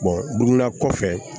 kɔfɛ